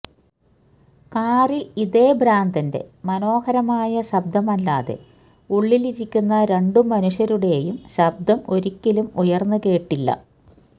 കാറിൽ ഇതേ ഭ്രാന്തിന്റെ മനോഹരമായ ശബ്ദമല്ലാതെ ഉള്ളിലിരിക്കുന്ന രണ്ടു മനുഷ്യരുടെയും ശബ്ദം ഒരിക്കലും ഉയർന്നു കേട്ടില്ല